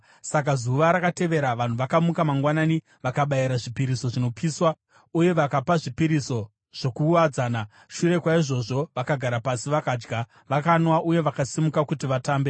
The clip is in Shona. Saka zuva rakatevera vanhu vakamuka mangwanani vakabayira zvipiriso zvinopiswa uye vakapa zvipiriso zvokuwadzana. Shure kwaizvozvo vakagara pasi vakadya, vakanwa uye vakasimuka kuti vatambe.